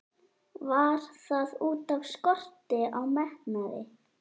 Var það útaf skorti á metnaði?